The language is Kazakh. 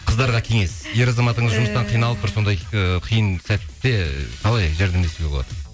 қыздарға кеңес ер азаматың жұмыстан қиналып бір сондай ыыы қиын сәтте қалай жәрдемдесуге болады